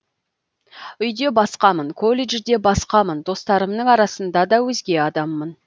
үйде басқамын колледжде басқамын достарымның арасында да өзге адаммын